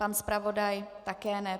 Pan zpravodaj také ne.